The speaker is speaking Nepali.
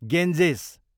गेन्जेस